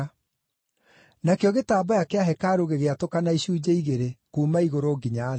Nakĩo gĩtambaya kĩa hekarũ gĩgĩatũkana icunjĩ igĩrĩ kuuma igũrũ nginya thĩ.